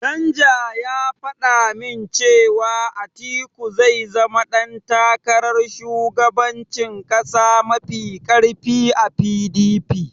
Danja ya faɗa min cewa Atiku zai zama ɗan takarar shugabancin ƙasa mafi ƙarfi a PDP.